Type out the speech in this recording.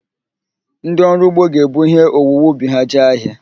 Ndịọrụugbo ga-ebu ihe owuwe ubi ha jee ahịa